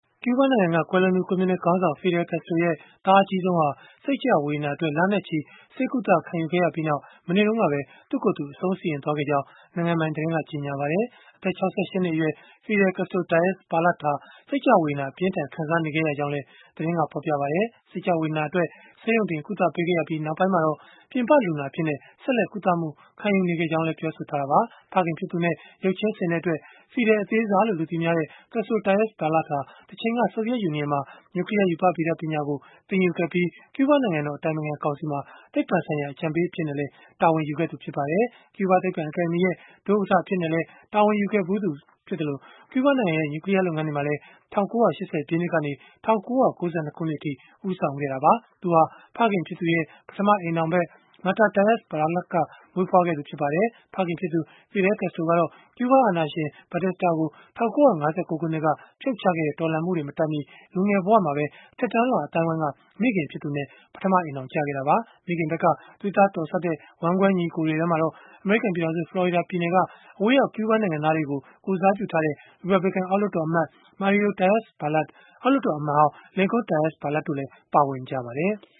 ကျုးဘားနိုင်ငံက ကွယ်လွန်သူ ကွန်မြူနစ်ခေါင်းဆောင် Fidel Castro ရဲ့ သားအကြီးဆုံးဟာ စိတ်ကျဝေဒနာအတွက် လနဲ့ချီ ဆေးကုသ ခံယူခဲ့ရပြီးနောက် မနေ့တုန်းကပဲ သူ့ကိုယ်သူ အဆုံးစီရင်သွားခဲ့ကြောင်း နိုင်ငံပိုင်သတင်းက ကြေညာလိုက်ပါတယ်။ အသက် ၆၈ နှစ်အရွယ် Fidel Castro Diaz-Balart ဟာ စိတ်ကျဝေဒနာ အပြင်းအထန် ခံစားနေခဲ့ရကြောင်းလည်း သတင်းက ဖော်ပြပါတယ်။ စိတ်ကျဝေဒနာ အတွက် ဆေးရုံတင်ကုသပေးခဲ့ရပြီး၊ နောက်ပိုင်းမှာတော့ ပြင်ပလူနာအဖြစ်နဲ့ ဆက်လက် ကုသမှုခံယူနေခဲ့ကြောင်းလည်း ပြောဆိုခဲ့တာပါ။ ဖခင်ဖြစ်သူနဲ့ ရုပ်ချင်းဆင်တဲ့အတွက် ဖီဒယ် အသေးစားလို့ လူသိများတဲ့ Castro Diaz-Balart ဟာ တချိန်က ဆိုဗီယက်ယူနီယံမှာ နျူကလီးယား ရူပဗေဒ ပညာရပ်ကို သင်ယူခဲ့ပြီး၊ ကျုးဘား နိုင်ငံတော် အတိုင်ပင်ခံကောင်စီမှာ သိပ္ပံဆိုင်ရာ အကြံပေး အဖြစ်နဲ့လည်း တာဝန်ယူခဲ့သူ ဖြစ်ပါတယ်။ ကျုးဘားသိပ္ပံ အကယ်ဒမီရဲ့ ဒုဥက္ကဋ္ဌ အဖြစ်နဲ့လည်း တာဝန်ယူခဲ့ဘူးသလို၊ ကျူးဘားနိုင်ငံရဲ့ နျူကလီးယား လုပ်ငန်းတွေမှာလည်း ၁၉၈၀ ပြည့်နှစ်ကနေ ၁၉၉၂ ခုနှစ်အထိ ဦးဆောင်ခဲ့တာပါ။ သူဟာ ဖခင်ဖြစ်သူရဲ့ ပထမအိမ်ထောင်ဘက် Mirta Diaz-Balart က မွေးဖွားခဲ့သူ ဖြစ်ပါတယ်။ ဖခင်ဖြစ်သူ Fidel Castro ကတော့ ကျုးဘားအာဏာရှင် Fulgencio Batista ကို ၁၉၅၉ ခုနှစ်က ဖြုတ်ချခဲ့တဲ့ တော်လှန်မှုတွေ မတိုင်မီ လူငယ်ဘဝမှာပဲ အထက်တန်းလွှာ အသိုင်းအဝန်းက မိခင်ဖြစ်သူနဲ့ ပထမအိမ်ထောင်ကျခဲ့တာပါ။ မိခင်ဘက်က သွေးသားတော်စပ်တဲ့ ဝမ်းကွဲညီအကိုတွေထဲမှာတော့ အမေရိကန် ပြည်ထောင်စု ဖလော်ရီဒါပြည်နယ်က အဝေးရောက် ကျုးဘားနိုင်ငံသားတွေကို ကိုယ်စားပြုထားတဲ့ ရီပတ်ဘလစ်ကန် အောက်လွှတ်တော်အမတ် Mario Diaz-Balart အောက်လွှတ်တော် အမတ်ဟောင်း Lincoln Diaz-Balart တို့လည်း ပါဝင်ကြပါတယ်။